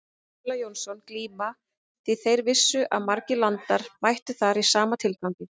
Stulla Jónsson glíma því þeir vissu að margir landar mættu þar í sama tilgangi.